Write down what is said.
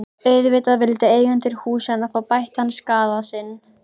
Auðvitað vildu eigendur húsanna fá bættan skaða sinn.